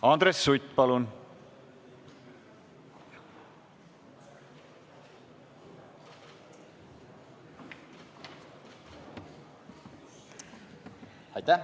Andres Sutt, palun!